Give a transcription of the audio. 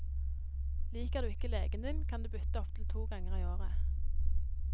Liker du ikke legen din, kan du bytte opptil to ganger i året.